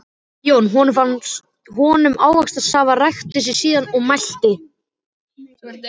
Jón honum ávaxtasafa, ræskti sig síðan og mælti